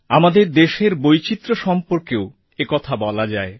আমাদের দেশের বৈচিত্র্য সম্পর্কেও একথা বলা যায়